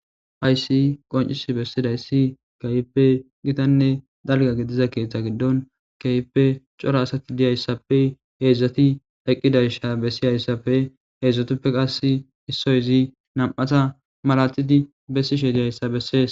Hayiss qonciss bessidayissi kehippe gitanne daligga gidizza keththa giddonni kehippe cora asati diyayissappe hezdzdati eqqidayis besiyassappe hezdzdutappe qasi issoyi izzi nam''atta malatidd besishshe dizayissa besses.